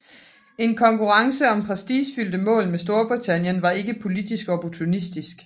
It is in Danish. En konkurrence om prestigefyldte mål med Storbritannien var ikke politisk opportunistisk